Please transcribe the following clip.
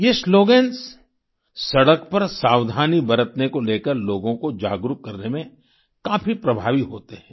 ये स्लोगन्स सड़क पर सावधानी बरतने को लेकर लोगों को जागरूक करने में काफी प्रभावी होते हैं